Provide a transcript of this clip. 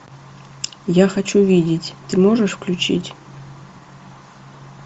я хочу видеть ты можешь включить